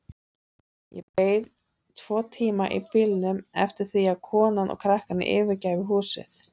Ég beið tvo tíma í bílnum eftir því að konan og krakkarnir yfirgæfu húsið.